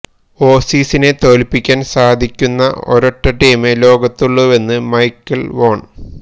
ഓസീസിനെ തോൽപ്പിക്കാൻ സാധിക്കുന്ന ഒരൊറ്റ ടീമേ ലോകത്തുള്ളുവെന്ന് മൈക്കൽ വോൺ